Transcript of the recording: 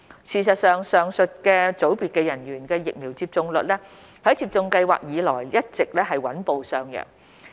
事實上，上述組別人員的疫苗接種率在接種計劃開展以來一直穩步上揚。